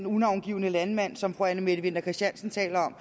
unavngivne landmand som fru anne mette winther christiansen taler